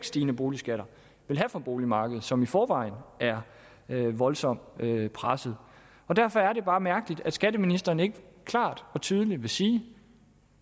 stigende boligskatter vil have for boligmarkedet som i forvejen er voldsomt presset derfor er det bare mærkeligt at skatteministeren ikke klart og tydeligt vil sige